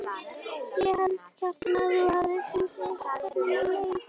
Ég held, Kjartan, að hún hafi fundið hvernig mér leið.